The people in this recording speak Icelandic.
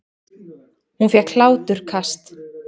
Hún fékk hláturkast.